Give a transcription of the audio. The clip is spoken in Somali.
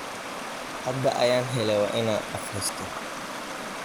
Hada ayan hele wa ina akristo.